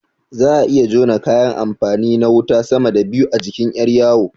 Za'a iya jona kayan amfani na wuta sama da biyu a jikin ƴar yawo